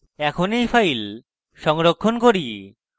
এখন এই ফাইল সংরক্ষণ করি